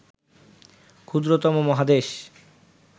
ক্ষুদ্রতম মহাদেশ